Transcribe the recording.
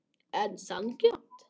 En sanngjarnt?